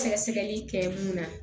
Sɛgɛsɛgɛli kɛ mun na